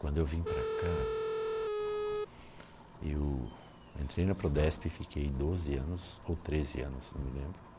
Quando eu vim para cá, eu entrei na Prodesp e fiquei doze anos, ou treze anos, não me lembro.